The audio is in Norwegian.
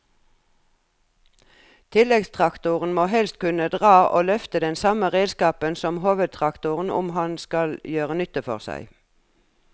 Tilleggstraktoren må helst kunne dra og løfte den samme redskapen som hovedtraktoren om han skal gjøre nytte for seg.